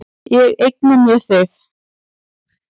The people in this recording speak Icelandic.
Ég eigna mér þig.